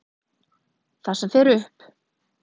Það sem fer upp.